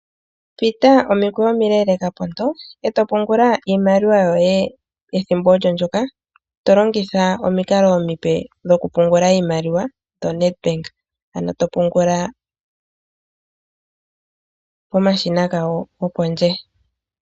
Pita omikweyo omileleka ponto, eto pungula iimaliwa yoye ethimbo olyo lykka to longitha omikalo omipe ni ku pungula iimaliwa no Nedbank, ano to pungula pomashina gawo go pondje.